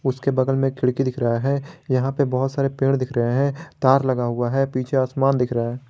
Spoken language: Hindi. उसके बगल में खिड़की दिख रहा है यहां पे बहुत सारे पेड़ दिख रहे हैं तार लगा हुआ है पीछे आसमान दिख रहा है।